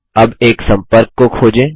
अब एक सम्पर्क को खोजें